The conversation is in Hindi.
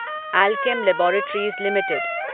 Alkem laboratories limited